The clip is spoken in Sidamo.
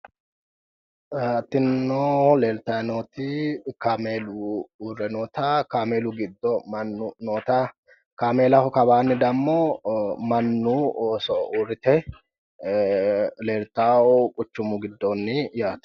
Tinino leeltayi nooti kaameelu uurre noota, kaameelu giddo mannu uurre noota kaameellaho kawaanni damo mannu ooso uurrite leeltawo quchumu giddooonni yaate.